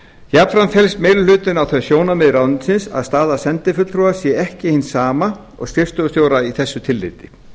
jafnframt felst meiri hlutinn á þau sjónarmið ráðuneytisins að staða sendifulltrúa sé ekki hin sama og skrifstofustjóra í þessu tilliti